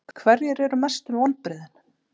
Hverjir eru mestu vonbrigðin?